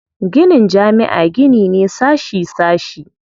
Ginin jami'a gini ne sashi sashi.